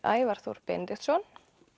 Ævar Þór Benediktsson